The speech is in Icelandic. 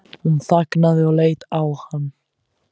Hún þagnaði og leit á hann.